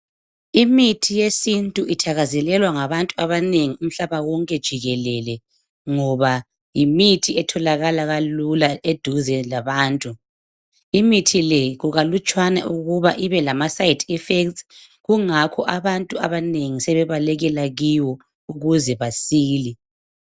Imithi yesintu ithakazelelwa ngabantu abanengi umhlaba wonke jikelele ngoba yimithi etholakala kalula eduze labantu. Imithi le kukalutshwana ukubana ibe lama side effects kungakho abantu abanengi sebebalekela kiwo ukuze basile.